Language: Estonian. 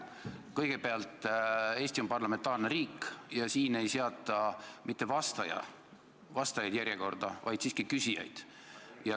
Kõigepealt, Eesti on parlamentaarne riik ja siin ei seata järjekorda mitte vastajaid, vaid siiski küsijaid.